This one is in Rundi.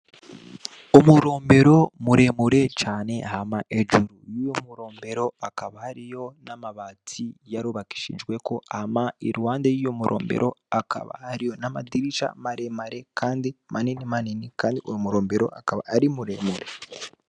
Umurombero muremure cane hama ejuru y'iyumurombero akaba ariyo n'amabazsi yarubakishijweko ama irwande y'iyumurombero akaba ariyo n'amadirica maremare, kandi manini manini, kandi uumurombero akaba ari muremure.